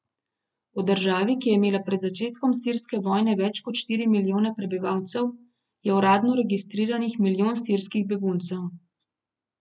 V državi, ki je imela pred začetkom sirske vojne več kot štiri milijone prebivalcev, je uradno registriranih milijon sirskih beguncev.